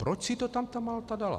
Proč si to tam ta Malta dala?